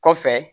Kɔfɛ